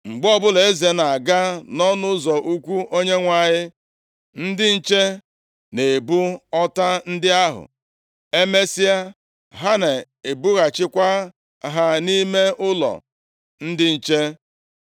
Mgbe ọbụla eze na-aga nʼụlọnsọ ukwu Onyenwe anyị, ndị nche na-ebu ọta ndị ahụ, emesịa, ha na-ebughachikwa ha nʼime ụlọ ndị nche.